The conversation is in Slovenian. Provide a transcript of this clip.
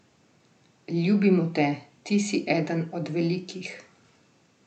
Ljubimo te, ti si eden od velikih.